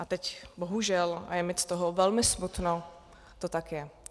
A teď bohužel, a je mi z toho velmi smutno, to tak je.